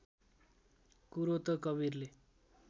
कुरो त कवीरले